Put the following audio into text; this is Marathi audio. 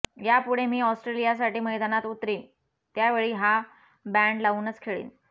यापुढे मी ऑस्ट्रेलियासाठी मैदानात उतरीन त्यावेळी हा बँड लावूनच खेळीन